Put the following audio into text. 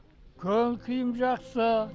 көңіл күйім жақсы